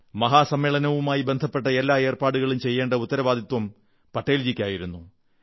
മഹാസമ്മേളനവുമായി ബന്ധപ്പെട്ട എല്ലാ ഏർപ്പാടുകളും ചെയ്യേണ്ട ഉത്തരവാദിത്തം പട്ടേൽജിക്കായിരുന്നു